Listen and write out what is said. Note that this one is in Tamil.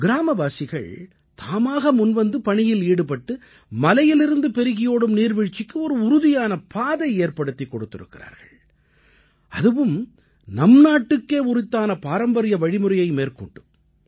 கிராமவாசிகள் தாமாக முன்வந்து பணியில் ஈடுபட்டு மலையிலிருந்து பெருகியோடும் நீர்வீழ்ச்சிக்கு ஒரு உறுதியான பாதையேற்படுத்தியிருக்கிறார்கள் அதுவும் நம் நாட்டுக்கே உரித்தான பாரம்பரிய வழிமுறையை மேற்கொண்டு